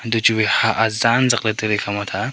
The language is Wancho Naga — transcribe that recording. echu wai hah zan zakley tailey ekhama thah a.